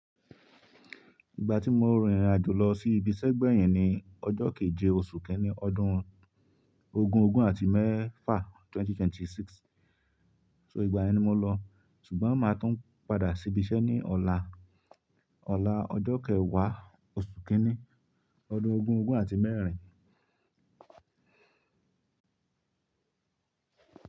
Ìgbà tí mo rin ìrìnàjò lọ sí ibiṣẹ́ gbẹ̀yìn ni ọjọ́ keje oṣù kínní ọdún ogún ogún àti mẹ́fa 2026. So ìgbà yẹn ni mo lọ, ṣùgbọ́n màá tun padà sí ibiṣẹ́ ní ọ̀la, ọ̀la ọjọ́ kẹwàá oṣù kínní ọdún ogún ogún àti mẹ́rin.